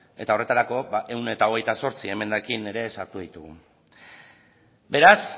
eta horretarako ehun eta hogeita zortzi emendakin ere sartu ditugu beraz